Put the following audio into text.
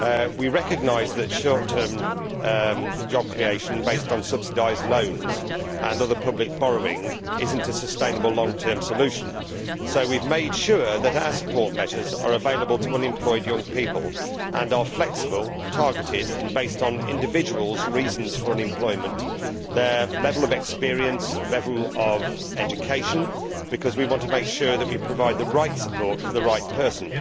We recognise that short term job creation, based on subsidised loans and other public borrowing, is not a sustainable long term solution, so we have made sure that our support measures are available to unemployed young people and are flexible, targeted and based on individuals' reasons for unemployment, their level of experience and their level of education, because we want to make sure that we provide the right support for the right person.